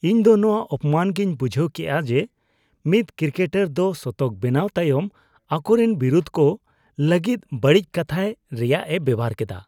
ᱤᱧ ᱫᱚ ᱱᱚᱶᱟ ᱚᱯᱚᱢᱟᱱ ᱜᱤᱧ ᱵᱩᱡᱷᱟᱹᱣ ᱠᱮᱜᱼᱟ ᱡᱮ ᱢᱤᱫ ᱠᱨᱤᱠᱮᱴᱟᱨ ᱫᱚ ᱥᱚᱛᱚᱠ ᱵᱮᱱᱟᱣ ᱛᱟᱭᱚᱢ ᱟᱠᱚᱨᱤᱱ ᱵᱤᱨᱚᱫᱷᱤ ᱠᱚ ᱞᱟᱹᱜᱤᱫᱵᱟᱹᱲᱤᱡ ᱠᱟᱛᱷᱟᱭ ᱨᱮᱭᱟᱜ ᱮ ᱵᱮᱵᱚᱦᱟᱨ ᱠᱮᱫᱟ ᱾